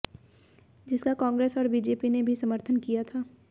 जिसका कांग्रेस और बीजेपी ने भी समर्थन किया था